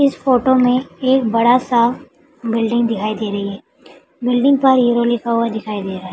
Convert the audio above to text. इस फोटो में एक बड़ा सा बिल्डिंग दिखाई दे रही है बिल्डिंग पर हीरो लिखा हुआ दिखाई दे रहा --